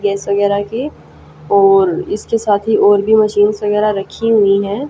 Gas वगैरा के और इसके साथ ही और भी मशीन्स वगैरा रखी हुई है।